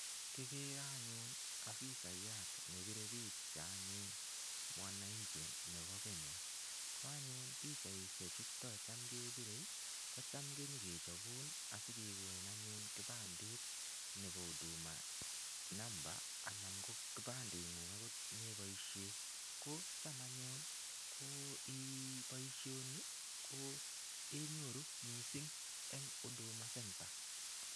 Kikere anyun afisayat ne pire picha anyun mwananchi nebo Kenya, ko anyun pichaisie chuto cham kepire ii, kocham ko nyekochobun asi kekonin kipandet nebo huduma number anan ko kipandengung akot ne iboisie, ko cham anyun ko um boisioni kenyoru mising eng Huduma Centre.